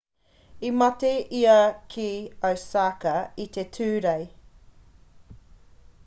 i mate ia ki osaka i te tūrei